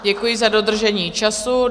Děkuji za dodržení času.